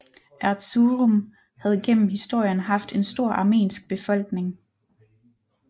Erzurum havde gennem historien haft en stor armensk befolkning